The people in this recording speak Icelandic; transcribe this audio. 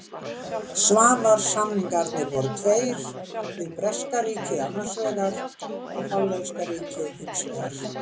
Svavars-samningarnir voru tveir, við breska ríkið annars vegar og hollenska ríkið hins vegar.